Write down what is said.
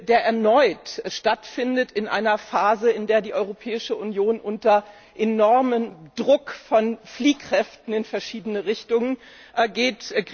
der erneut stattfindet in einer Phase, in der die Europäische Union unter enormem Druck von Fliehkräften in verschiedene Richtungen steht.